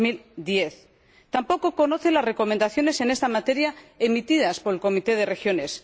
2010. Tampoco conoce las recomendaciones en esta materia emitidas por el Comité de las Regiones.